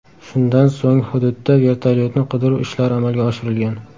Shundan so‘ng, hududda vertolyotni qidiruv ishlari amalga oshirilgan.